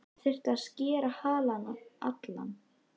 Þar þyrfti að skera halann allan.